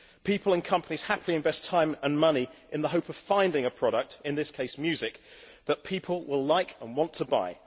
People and companies happily invest time and money in the hope of finding a product in this case, music that people will like and want to buy.